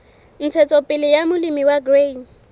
ntshetsopele ya molemi wa grain